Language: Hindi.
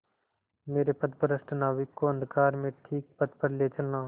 मेरे पथभ्रष्ट नाविक को अंधकार में ठीक पथ पर ले चलना